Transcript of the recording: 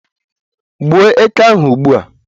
Gbuo eke ahụ ugbua!